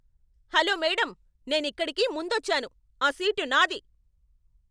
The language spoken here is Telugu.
హలో మేడమ్, నేనిక్కడికి ముందొచ్చాను. ఆ సీటు నాది.